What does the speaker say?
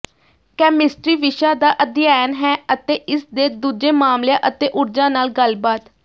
chemistry ਵਿਸ਼ਾ ਦਾ ਅਧਿਐਨ ਹੈ ਅਤੇ ਇਸਦੇ ਦੂਜੇ ਮਾਮਲਿਆਂ ਅਤੇ ਊਰਜਾ ਨਾਲ ਗੱਲਬਾਤ